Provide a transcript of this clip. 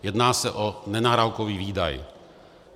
Jedná se o nenárokový výdaj.